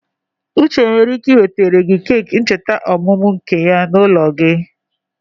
Uche nwere ike ị wetere gị keki ncheta ọmụmụ nke gị n'ụlọ.